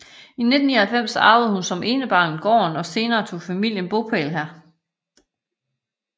I 1999 arvede hun som enebarn gården og senere tog familien bopæl her